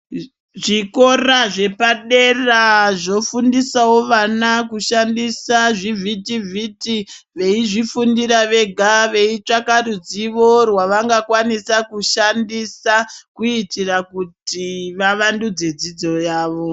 Zvikora zvepadera zvofundisavo vana kushandisa zvivhiti-vhiti. Veizvifundira vega veitsvaka ruzivo rwavanga kwanisa kushandisa. Kuitira kuti vavandudze dzidzo yavo.